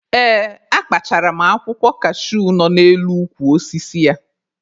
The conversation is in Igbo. Ee, akpachara m akwụkwọ kashuu nọ n'elu ukwu osisi ya.